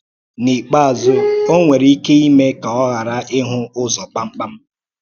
N’íkpeázụ́, ọ̀ nwere ike ímè ka ọ̀ ghàrà íhụ̀ ụzọ kpàmkpàm.